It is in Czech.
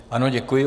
Ano, děkuji.